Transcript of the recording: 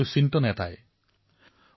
আৰু সেই সময়ৰ এই ১৯শ শতিকাৰ শেষাংশৰ কথা